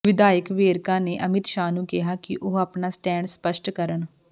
ਵਿਧਾਇਕ ਵੇਰਕਾ ਨੇ ਅਮਿਤ ਸ਼ਾਹ ਨੂੰ ਕਿਹਾ ਕਿ ਉਹ ਆਪਣਾ ਸਟੈਂਡ ਸ਼ਪੱਸਟ ਕਰਨ